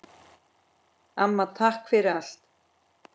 Amma, takk fyrir allt.